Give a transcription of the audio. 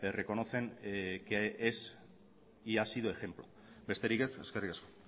reconocen que es y ha sido ejemplo besterik ez eskerrik asko